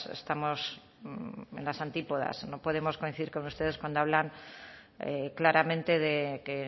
estamos en las antípodas no podemos coincidir con ustedes cuando hablan claramente de que